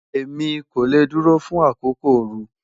Emi ko le duro fun akoko ooru